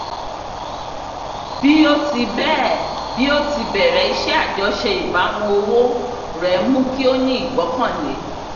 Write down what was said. bí ó ti bẹ́ẹ̀ bí ó ti bẹ̀rẹ̀ iṣẹ́ àjọṣe ìbámu owó rẹ mú kí ó ní ìgbọ́kànlé